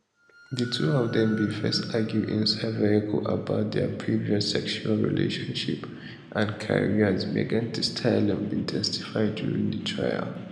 di two of dem bin first argue inside vehicle about dia previous sexual relationship and careers megan thee stallion bin testify during di trial